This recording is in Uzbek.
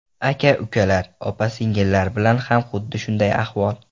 Aka-ukalar, opa-singillar bilan ham xuddi shunday ahvol.